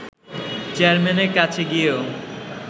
চেয়ারম্যানের কাছে গিয়েও